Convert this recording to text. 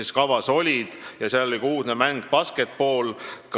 Seal oli ka uudne mäng basketball.